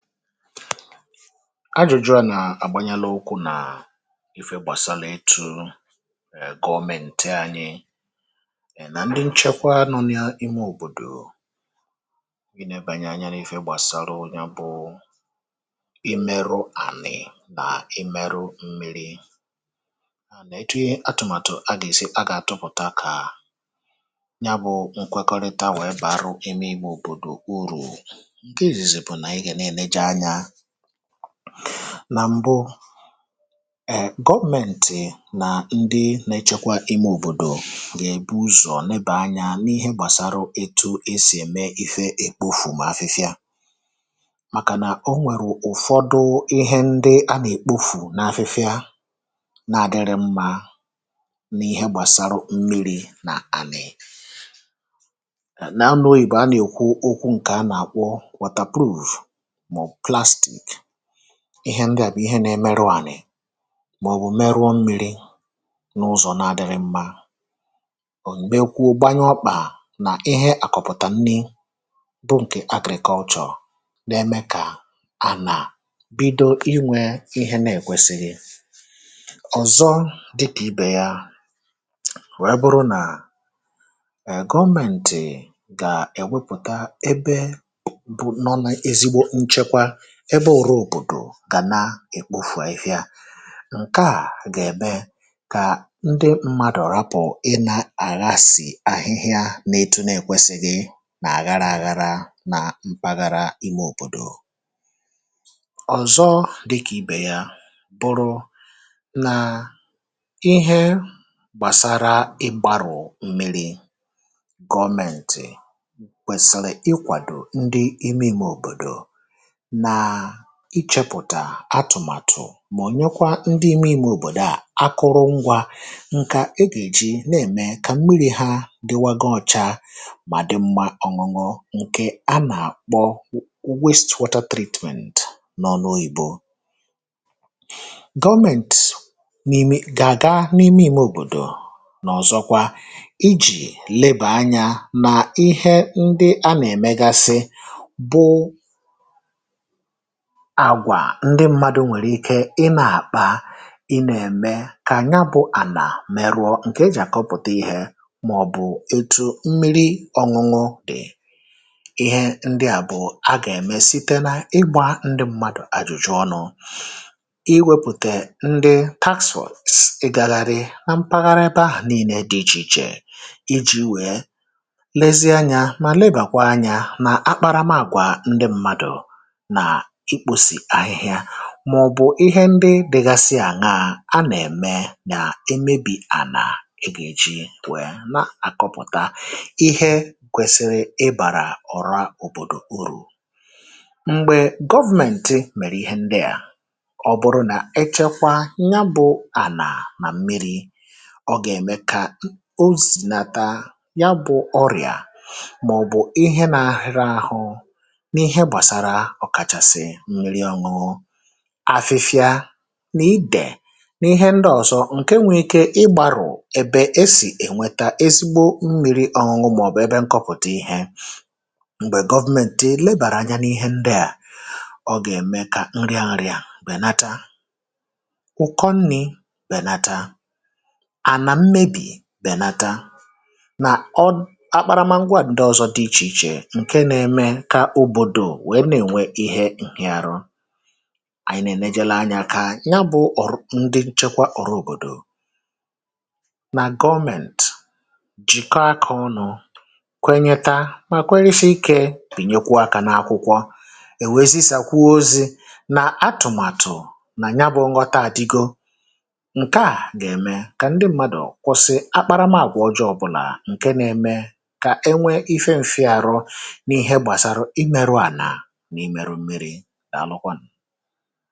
ajụ̀jụ̀ a nà-àgbanyala ukwu̇ nà ife gbàsaàlà itu ègòmenti anyị è nà ndị nchekwa nọ n’imė òbòdò gị nà-ebànye anya n’ifė gbàsaà lu ya bụ̇ imerụ ànị̀ nà imerụ mmiri ànà etu atụ̀màtụ̀ a gà-èsi a gà-àtụpụ̀ta kà ya bụ̇ nkwekọrịta wèe bàa ruo ime igbȧ òbòdò uru̇ nà m̀bụ gọọmentì nà ndị na-echekwa ime òbòdò gà-èbu ụzọ̀ nneba anyȧ n’ihe gbàsara eto esì ème ife èkpofu mà afịfịa màkà nà o nwèrù ụ̀fọdụ ihe ndị a nà-èkpofu n’afịfịa na-àdịrị mmȧ n’ihe gbàsara mmiri̇ nà ànị̀ nà anùoyì bù a nà-èkwu okwu ǹkè a nà-àkwọ ihe ndị à bụ̀ ihe nȧ-emerụ ànị̀ màọ̀bụ̀ merụọ mmiri̇ n’ụzọ̀ nȧ-adịghị̇ mmȧ ò m̀gbekwu̇ gbanyụ ọkpà nà ihe àkọ̀pụ̀tà nni bụ ǹkè agrị̀kọ ọchọ̀ n’eme kà ànà bido inwė ihe nȧ-èkwesị̀rị̀ ọ̀zọ dịkà ibè yȧ wẹ ebụrụ nà gọmentì gà-èwepụ̀ta ebe ebe òbòdò gà na-èkpofù afịfịa ǹkeà gà èbe kà ndị mmadùrù apụ̀ ịna àga à sì ahịhịa n’etu na èkwesìgị nà-àgara àgara nà mpaghara imė òbòdò ọ̀zọ dịkà ibè ya bụrụ nà ihe gbàsara ịgbarụ̀ mmiri̇ gọmentì kwèsìrì ịkwàdò ndị ime ǹmè òbòdò ịchepụ̀tà atụ̀màtụ̀ mà ònyekwa ndị ime ime òbòdò à akụrụ ngwȧ ǹkẹ̀ egà èji nà ème kà mmiri̇ hȧ dịwagȧ ọcha mà dị mmȧ ọ̀ṅụ̇ṅụ̇ ǹkẹ̀ a nà àkpọ w..wastewata tradement nọ n’ oyìbo gọọmentì n’ ime gà àga n’ ime ime òbòdò nà ọ̀zọkwa ijì lebà anyȧ nà ihe ndị a nà èmegasị bụ agwà ndị mmadụ̇ nwèrè ike inė àkpa inė ème kà ànya bụ ànà mèrụọ ǹkè e jì àkọpụ̀ta ihė màọ̀bụ̀ etu̇ mmiri ọ̇ñụ̇ñụ̇ dị̀ ihe ndị à bụ̀ a gà-ème site na ịgbȧ ndị mmadụ̀ àjụ̀jụ̀ ọnụ̇ iwėpùtè ndị taxwaọ̀ sị̀ ịgagharị na mpaghara ebe ahụ̀ nille dị ichè ichè iji̇ wee lezie anyȧ mà labourakwa anyȧ nà akparamaàgwà ndị mmadụ̀ màọ̀bụ̀ ihe ndị dịgasị àṅa a nà-ème nà emebì ànà egà-èji wèe na-àkọpụ̀ta ihe ǹkwesịrị ịbàrà ọ̀ra òbòdò urù m̀gbè government mèrè ihe ndị à ọ bụrụ nà echekwa ya bụ̇ ànà mà mmịrị̇ ọ gà-ème kà o zìnata ya bụ̇ ọrịà màọ̀bụ̀ ihe nȧ-ȧhụ̇rị ȧhụ̇ afịfịa n’ịdè n’ihe ndị ọzọ, ǹke nwee ike ịgbàrụ̀ ebe esì ènweta ezigbo mmiri ọṅụṅụ màọ̀bụ̀ ebe nkọpụ̀ta ihe m̀gbè gọvmenti lebàrà anya n’ihe ndị à ọ gà-ème kà nri nri à bènata ụ̀kọ nni̇ bènata à nà mmebì bènata nà ọ akparamagwa à ndị ọzọ dị ichè ichè ǹke na-eme kà òbòdò wèe na-ènwe ihe ànyị nà ènejere anyȧ kà ya bụ̇ ọ̀rụ̀ ndị nchekwa ọrụ̇ òbòdò nà gọmẹ̀nt jìka akȧ ọnụ̇ kwenyeta mà kwenye shi ikė bìnyekwa akȧ n’akwụkwọ èwè ezisà kwa ozi̇ nà atụ̀màtụ̀ nà ya bụ̇ nghọta àdigo ǹkè a gà ème kà ndị mmadụ̀ kwụsị akparamàgwọ̀ ọjọọ̇ bụ̀là ǹke nȧ eme kà e nwe ife ǹfị arọ n’ihe gbàsara imėrụ ànà ǹkè ọ̀tù yá nà-àlukwanụ̀